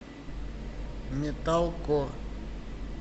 металкор